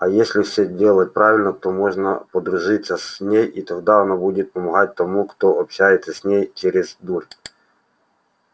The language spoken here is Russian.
и если все делать правильно то можно подружиться с ней и тогда она будет помогать тому кто общается с ней через дурь